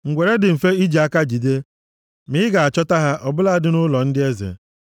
Ngwere dị mfe iji aka jide ya, ma ị ga-achọta ha ọ bụladị nʼụlọ ndị eze.